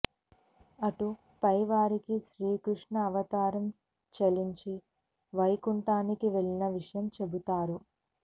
అటు పై వారికి శ్రీ కృష్ణు అవతారం చాలించి వైకుంఠానికి వెళ్లిన విషయం చెబుతారు